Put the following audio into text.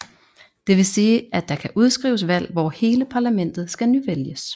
Det vil sige at der kan udskrives valg hvor hele parlamentet skal nyvælges